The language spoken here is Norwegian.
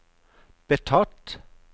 betatt